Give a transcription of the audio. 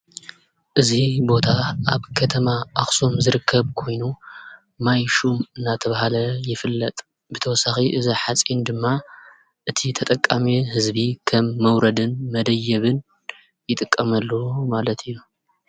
እዚ ቦታ ኣብ ከተማ ኣኽሱም ዝርከብ ኮይኑ ማይ ሹም እናተበሃለ ይፍለጥ፡፡ ብተወሳኺ እዚ ሓፂን ድማ እቲ ተጠቃሚ ህዝቢ ከም መውረድን መደየብን ይጥቀመሉ ማለት እዩ፡፡